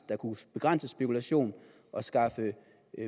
der kunne begrænse spekulation og skaffe